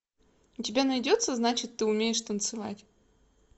у тебя найдется значит ты умеешь танцевать